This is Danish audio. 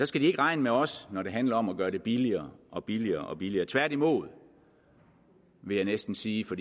skal regne med os når det handler om at gøre det billigere og billigere og billigere tværtimod vil jeg næsten sige for